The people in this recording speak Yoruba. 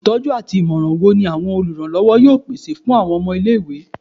Itọju ati imọran wo ni awọn oluranlọwọ yoo pese fun awọn ọmọ ile-iwe?